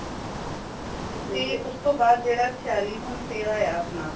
ਤੇ ਓਸਥੋ ਬਾਧ ਜੇੜਾ ਛਯਾਲੀ ਹੁਣ ਫੇਰ ਆਯਾ ਆਪਣਾਂ